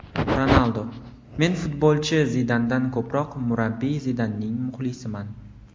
Ronaldu: Men futbolchi Zidandan ko‘proq murabbiy Zidanning muxlisiman.